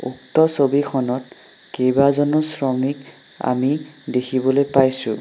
উক্তছবিখনত কেইবাজনো শ্ৰমিক আমি দেখিবলৈ পাইছোঁ।